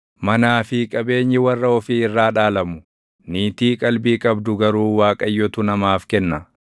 Manaa fi qabeenyi warra ofii irraa dhaalamu; niitii qalbii qabdu garuu Waaqayyotu namaaf kenna.